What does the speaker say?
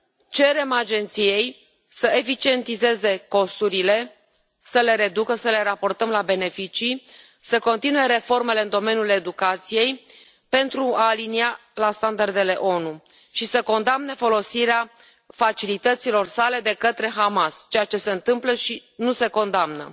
Cerem Agenției să eficientizeze costurile, să le reducă, să le raportăm la beneficii, să continue reformele în domeniul educației pentru a o alinia la standardele ONU și să condamne folosirea facilităților sale de către Hamas, lucru care se întâmplă și nu este condamnat.